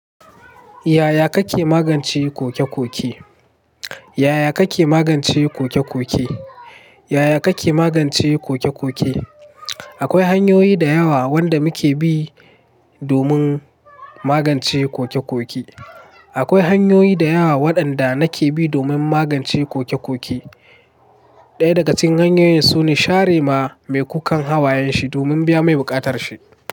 Yaya kake magance koke-koke? Yaya kake magance koke-koke? Yaya kake magance koke-koke? Akwai hanyoyi da yawa wanda muke bi domin magance koke-koke. Akwai hanyoyi da yawa waɗanda nake bi domin magance koke-koke. Ɗaya daga cikin hanyoyin su ne share ma mai kukan hawayen shi domin biya mai buƙatar shi.